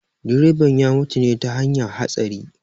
Direban ya mutu ne ta hanyar hatsari